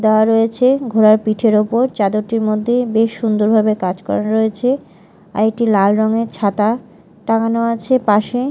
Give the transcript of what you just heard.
দেওয়া রয়েছে ঘোড়ার পিঠের ওপর চাদরটির মধ্যে বেশ সুন্দর ভাবে কাজ করা রয়েছে আর একটি লাল রঙের ছাতা টাঙ্গানো আছে পাশে।